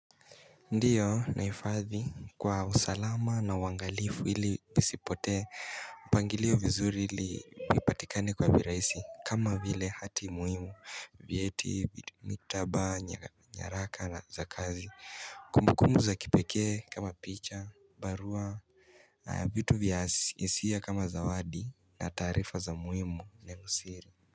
Ndiyo nahifadhi kwa usalama na uangalifu ili isipotee mpangilio vizuri ili ipatikane kwa virahisi kama vile hati muhimu vyeti mitaba nyaraka na za kazi kumbukumbu za kipekee kama picha barua vitu vya hisia kama zawadi na taarifa za muhimu na usiri.